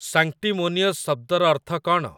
Sanctimonious ଶବ୍ଦର ଅର୍ଥ କ'ଣ?